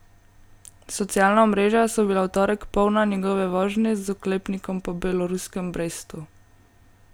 Socialna omrežja so bila v torek polna njegove vožnje z oklepnikom po beloruskem Brestu.